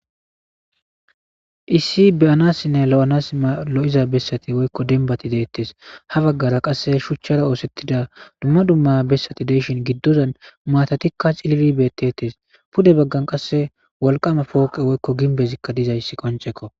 issi beyanassinne lo7anasma lo7iza bessati woykko denbati deettes ha baggara qasse shuchchara oosettida dumma dumma bessati deyshin giddodan maatatikka cilili beettettes pude baggan qasse walqama pooqe woykko ginbezikka dizayssi qoncekko